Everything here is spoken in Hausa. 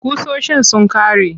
Ƙusoshin sun ƙare.